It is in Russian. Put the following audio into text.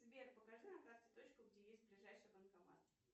сбер покажи на карте точку где есть ближайший банкомат